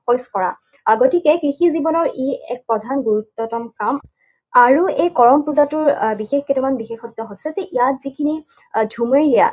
শইচ কৰা। আহ গতিকে কৃষিজীৱনৰ ই এক প্ৰধান গুৰুত্বতম্ কাম। আৰু এই কৰম পূজাটোৰ আহ বিশেষ কেইটামান বিশেষত্ব হৈছে যে ইয়াৰ যিখিনি ঝুমেৰীয়া